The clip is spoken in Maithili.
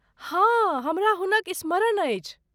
हँ, हमरा हुनक स्मरण अछि।